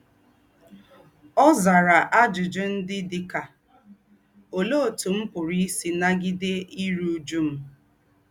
Ọ̀ zárà àjùjù ndí́ dí ká: Óléé ótú m̀ pùrù ísí nà-gídé írú újú m̀?